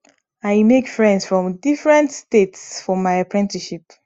i make friends from different states for my apprenticeship